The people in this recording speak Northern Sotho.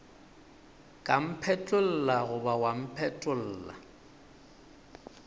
ka mphetlolla goba wa mpetolla